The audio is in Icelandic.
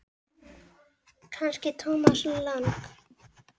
Kannski Thomas Lang?